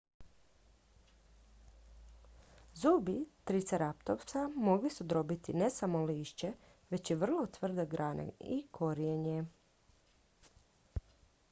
zubi triceratopsa mogli su drobiti ne samo lišće već i vrlo tvrde grane i korijenje